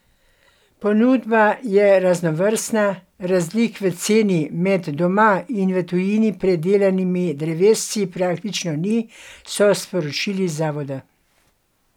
Ponudba je raznovrstna, razlik v ceni med doma in v tujini pridelanimi drevesci praktično ni, so sporočili z zavoda.